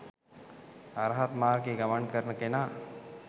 අරහත් මාර්ගයේ ගමන් කරන කෙනා